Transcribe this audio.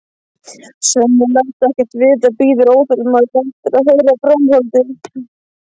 Svenni læst ekkert vita, bíður óþolinmóður eftir að heyra framhaldið.